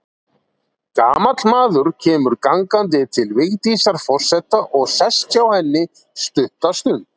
Gamall maður kemur gangandi til Vigdísar forseta og sest hjá henni stutta stund.